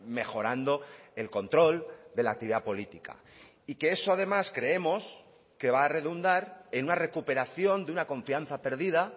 mejorando el control de la actividad política y que eso además creemos que va a redundar en una recuperación de una confianza perdida